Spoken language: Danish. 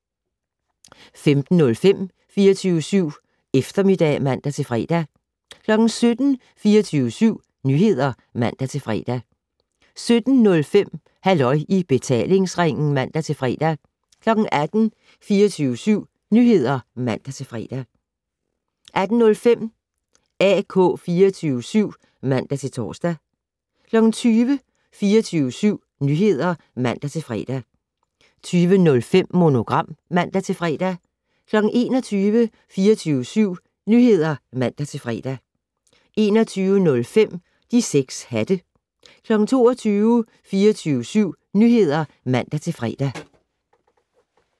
15:05: 24syv Eftermiddag (man-fre) 17:00: 24syv Nyheder (man-fre) 17:05: Halløj i betalingsringen (man-fre) 18:00: 24syv Nyheder (man-fre) 18:05: AK 24syv (man-tor) 20:00: 24syv Nyheder (man-fre) 20:05: Monogram (man-fre) 21:00: 24syv Nyheder (man-fre) 21:05: De 6 hatte 22:00: 24syv Nyheder (man-fre)